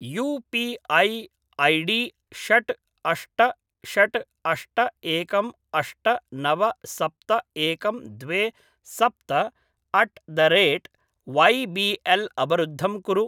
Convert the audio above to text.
you P I ID षट् अष्ट षट् अष्ट एकम् अष्ट नव सप्त एकं द्वे सप्त अट् द रेट् वैबिएल् अवरुद्धं कुरु